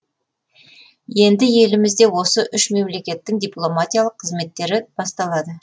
енді елімізде осы үш мемлекеттің дипломатиялық қызметтері басталады